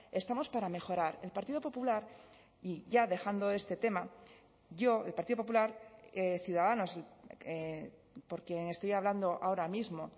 estamos para mejorar el partido popular y ya dejando este tema yo el partido popular ciudadanos porque estoy hablando ahora mismo